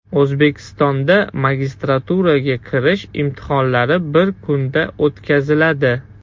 O‘zbekistonda magistraturaga kirish imtihonlari bir kunda o‘tkaziladi.